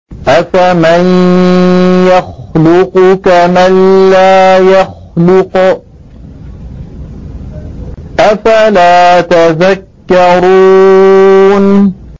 أَفَمَن يَخْلُقُ كَمَن لَّا يَخْلُقُ ۗ أَفَلَا تَذَكَّرُونَ